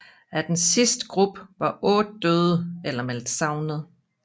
Af den sidste gruppe var otte døde eller meldt savnet